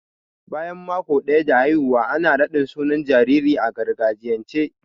Bayan maƙo daya da haihuwa ana raɗin sunan jaririn a gargajiyance.